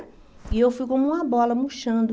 E eu fui como uma bola, murchando.